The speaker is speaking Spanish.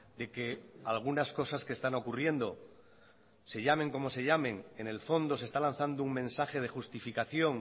de que algunas cosas que están ocurriendo se llamen como se llamen en el fondo se está lanzando un mensaje de justificación